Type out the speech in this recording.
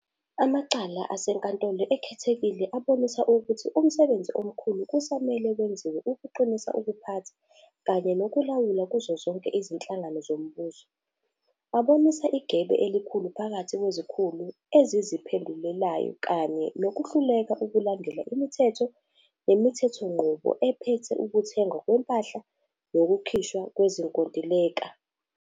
Amacala aseNkantolo Ekhethekile abonisa ukuthi umsebenzi omkhulu kusamele wenziwe ukuqinisa ukuphatha kanye nokulawula kuzo zonke izinhlaka zombuso. Abonisa igebe elikhulu phakathi kwezikhulu eziziphendulelayo kanye nokuhluleka ukulandela imithetho nemithethonqubo ephethe ukuthengwa kwempahla nokukhishwa kwezinkontileka.